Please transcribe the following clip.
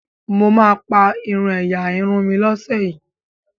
mọ má pá irú ẹyà Irun mí ló ṣe yí